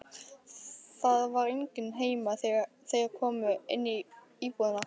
Það var enginn heima þegar þeir komu inn í íbúðina.